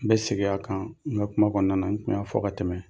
N bɛ segin a kan n ka kuma kɔɔna na n kun y'a fɔ ka tɛmɛ.